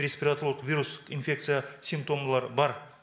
респираторлық вирус инфекция симптомылар бар